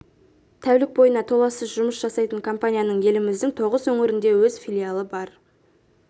тәулік бойына толассыз жұмыс жасайтын компанияның еліміздің тоғыз өңірінде өз филиалы бар